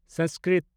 Sanskrit